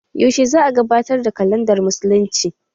Yaushe za'a gabatar da kalandar musulunci?